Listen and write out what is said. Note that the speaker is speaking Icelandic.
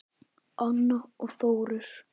Anna og Þórir.